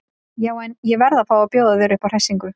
Já en. ég verð að fá að bjóða þér upp á hressingu!